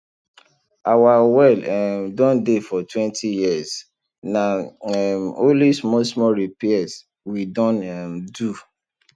our well um Accepted dey for twenty years na um only small small repairs we don um do